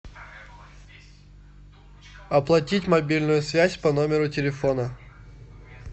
оплатить мобильную связь по номеру телефона